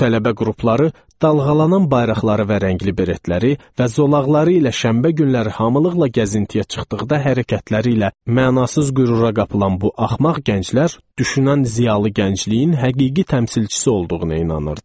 Bu tələbə qrupları dalğalanan bayraqları və rəngli beretləri və zolaqları ilə şənbə günləri hamılıqla gəzintiyə çıxdıqda hərəkətləri ilə mənasız qürura qapılan bu axmaq gənclər düşünən ziyalı gəncliyin həqiqi təmsilçisi olduğuna inanırdılar.